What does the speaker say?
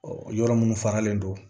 Ɔ yɔrɔ minnu faralen don